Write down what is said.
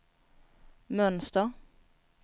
mönster